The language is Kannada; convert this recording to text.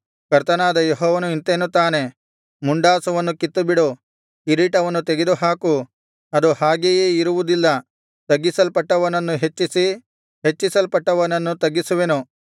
ಕರ್ತನಾದ ಯೆಹೋವನು ಇಂತೆನ್ನುತ್ತಾನೆ ಮುಂಡಾಸವನ್ನು ಕಿತ್ತುಬಿಡು ಕಿರೀಟವನ್ನು ತೆಗೆದುಹಾಕು ಅದು ಹಾಗೆಯೇ ಇರುವುದಿಲ್ಲ ತಗ್ಗಿಸಲ್ಪಟ್ಟವನನ್ನು ಹೆಚ್ಚಿಸಿ ಹೆಚ್ಚಿಸಲ್ಪಟ್ಟವನನ್ನು ತಗ್ಗಿಸುವೆನು